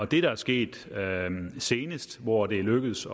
der er sket senest hvor det er lykkedes